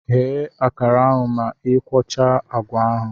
Ghe akara ahụ ma ị ikwocha agwa ahụ!